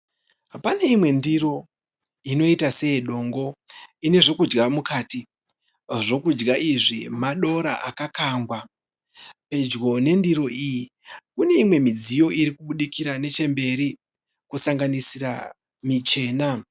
Pane imwe ndiro inoita seyedongo ine zvokudya mukati. Zvokudya izvi madora akakangwa. Pedyo nendiro iyi kune imwe midziyo iri kubudikira nechemberi kusanganisira michena.